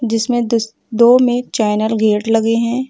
जिसमें दो में चैनल गेट लगे हैं।